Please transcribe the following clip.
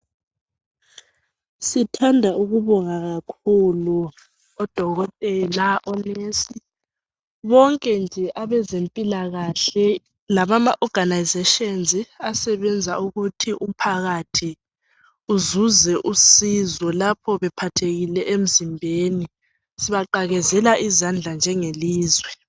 Sithanda ukubonga kakhulu odokotela onesi bonke nje abezimpilakahle labama oganayizeshenzi asebenza ukuthi umphakathi uzuze usizo lapha bephathekile emzimbeni sibaqakezela izandla njengelizwe.